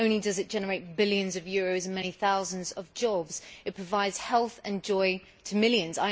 Not only does it generate billions of euros and many thousands of jobs, but it also provides health and joy to millions.